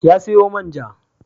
Ya sayo man ja.